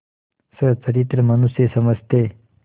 सच्चरित्र मनुष्य समझते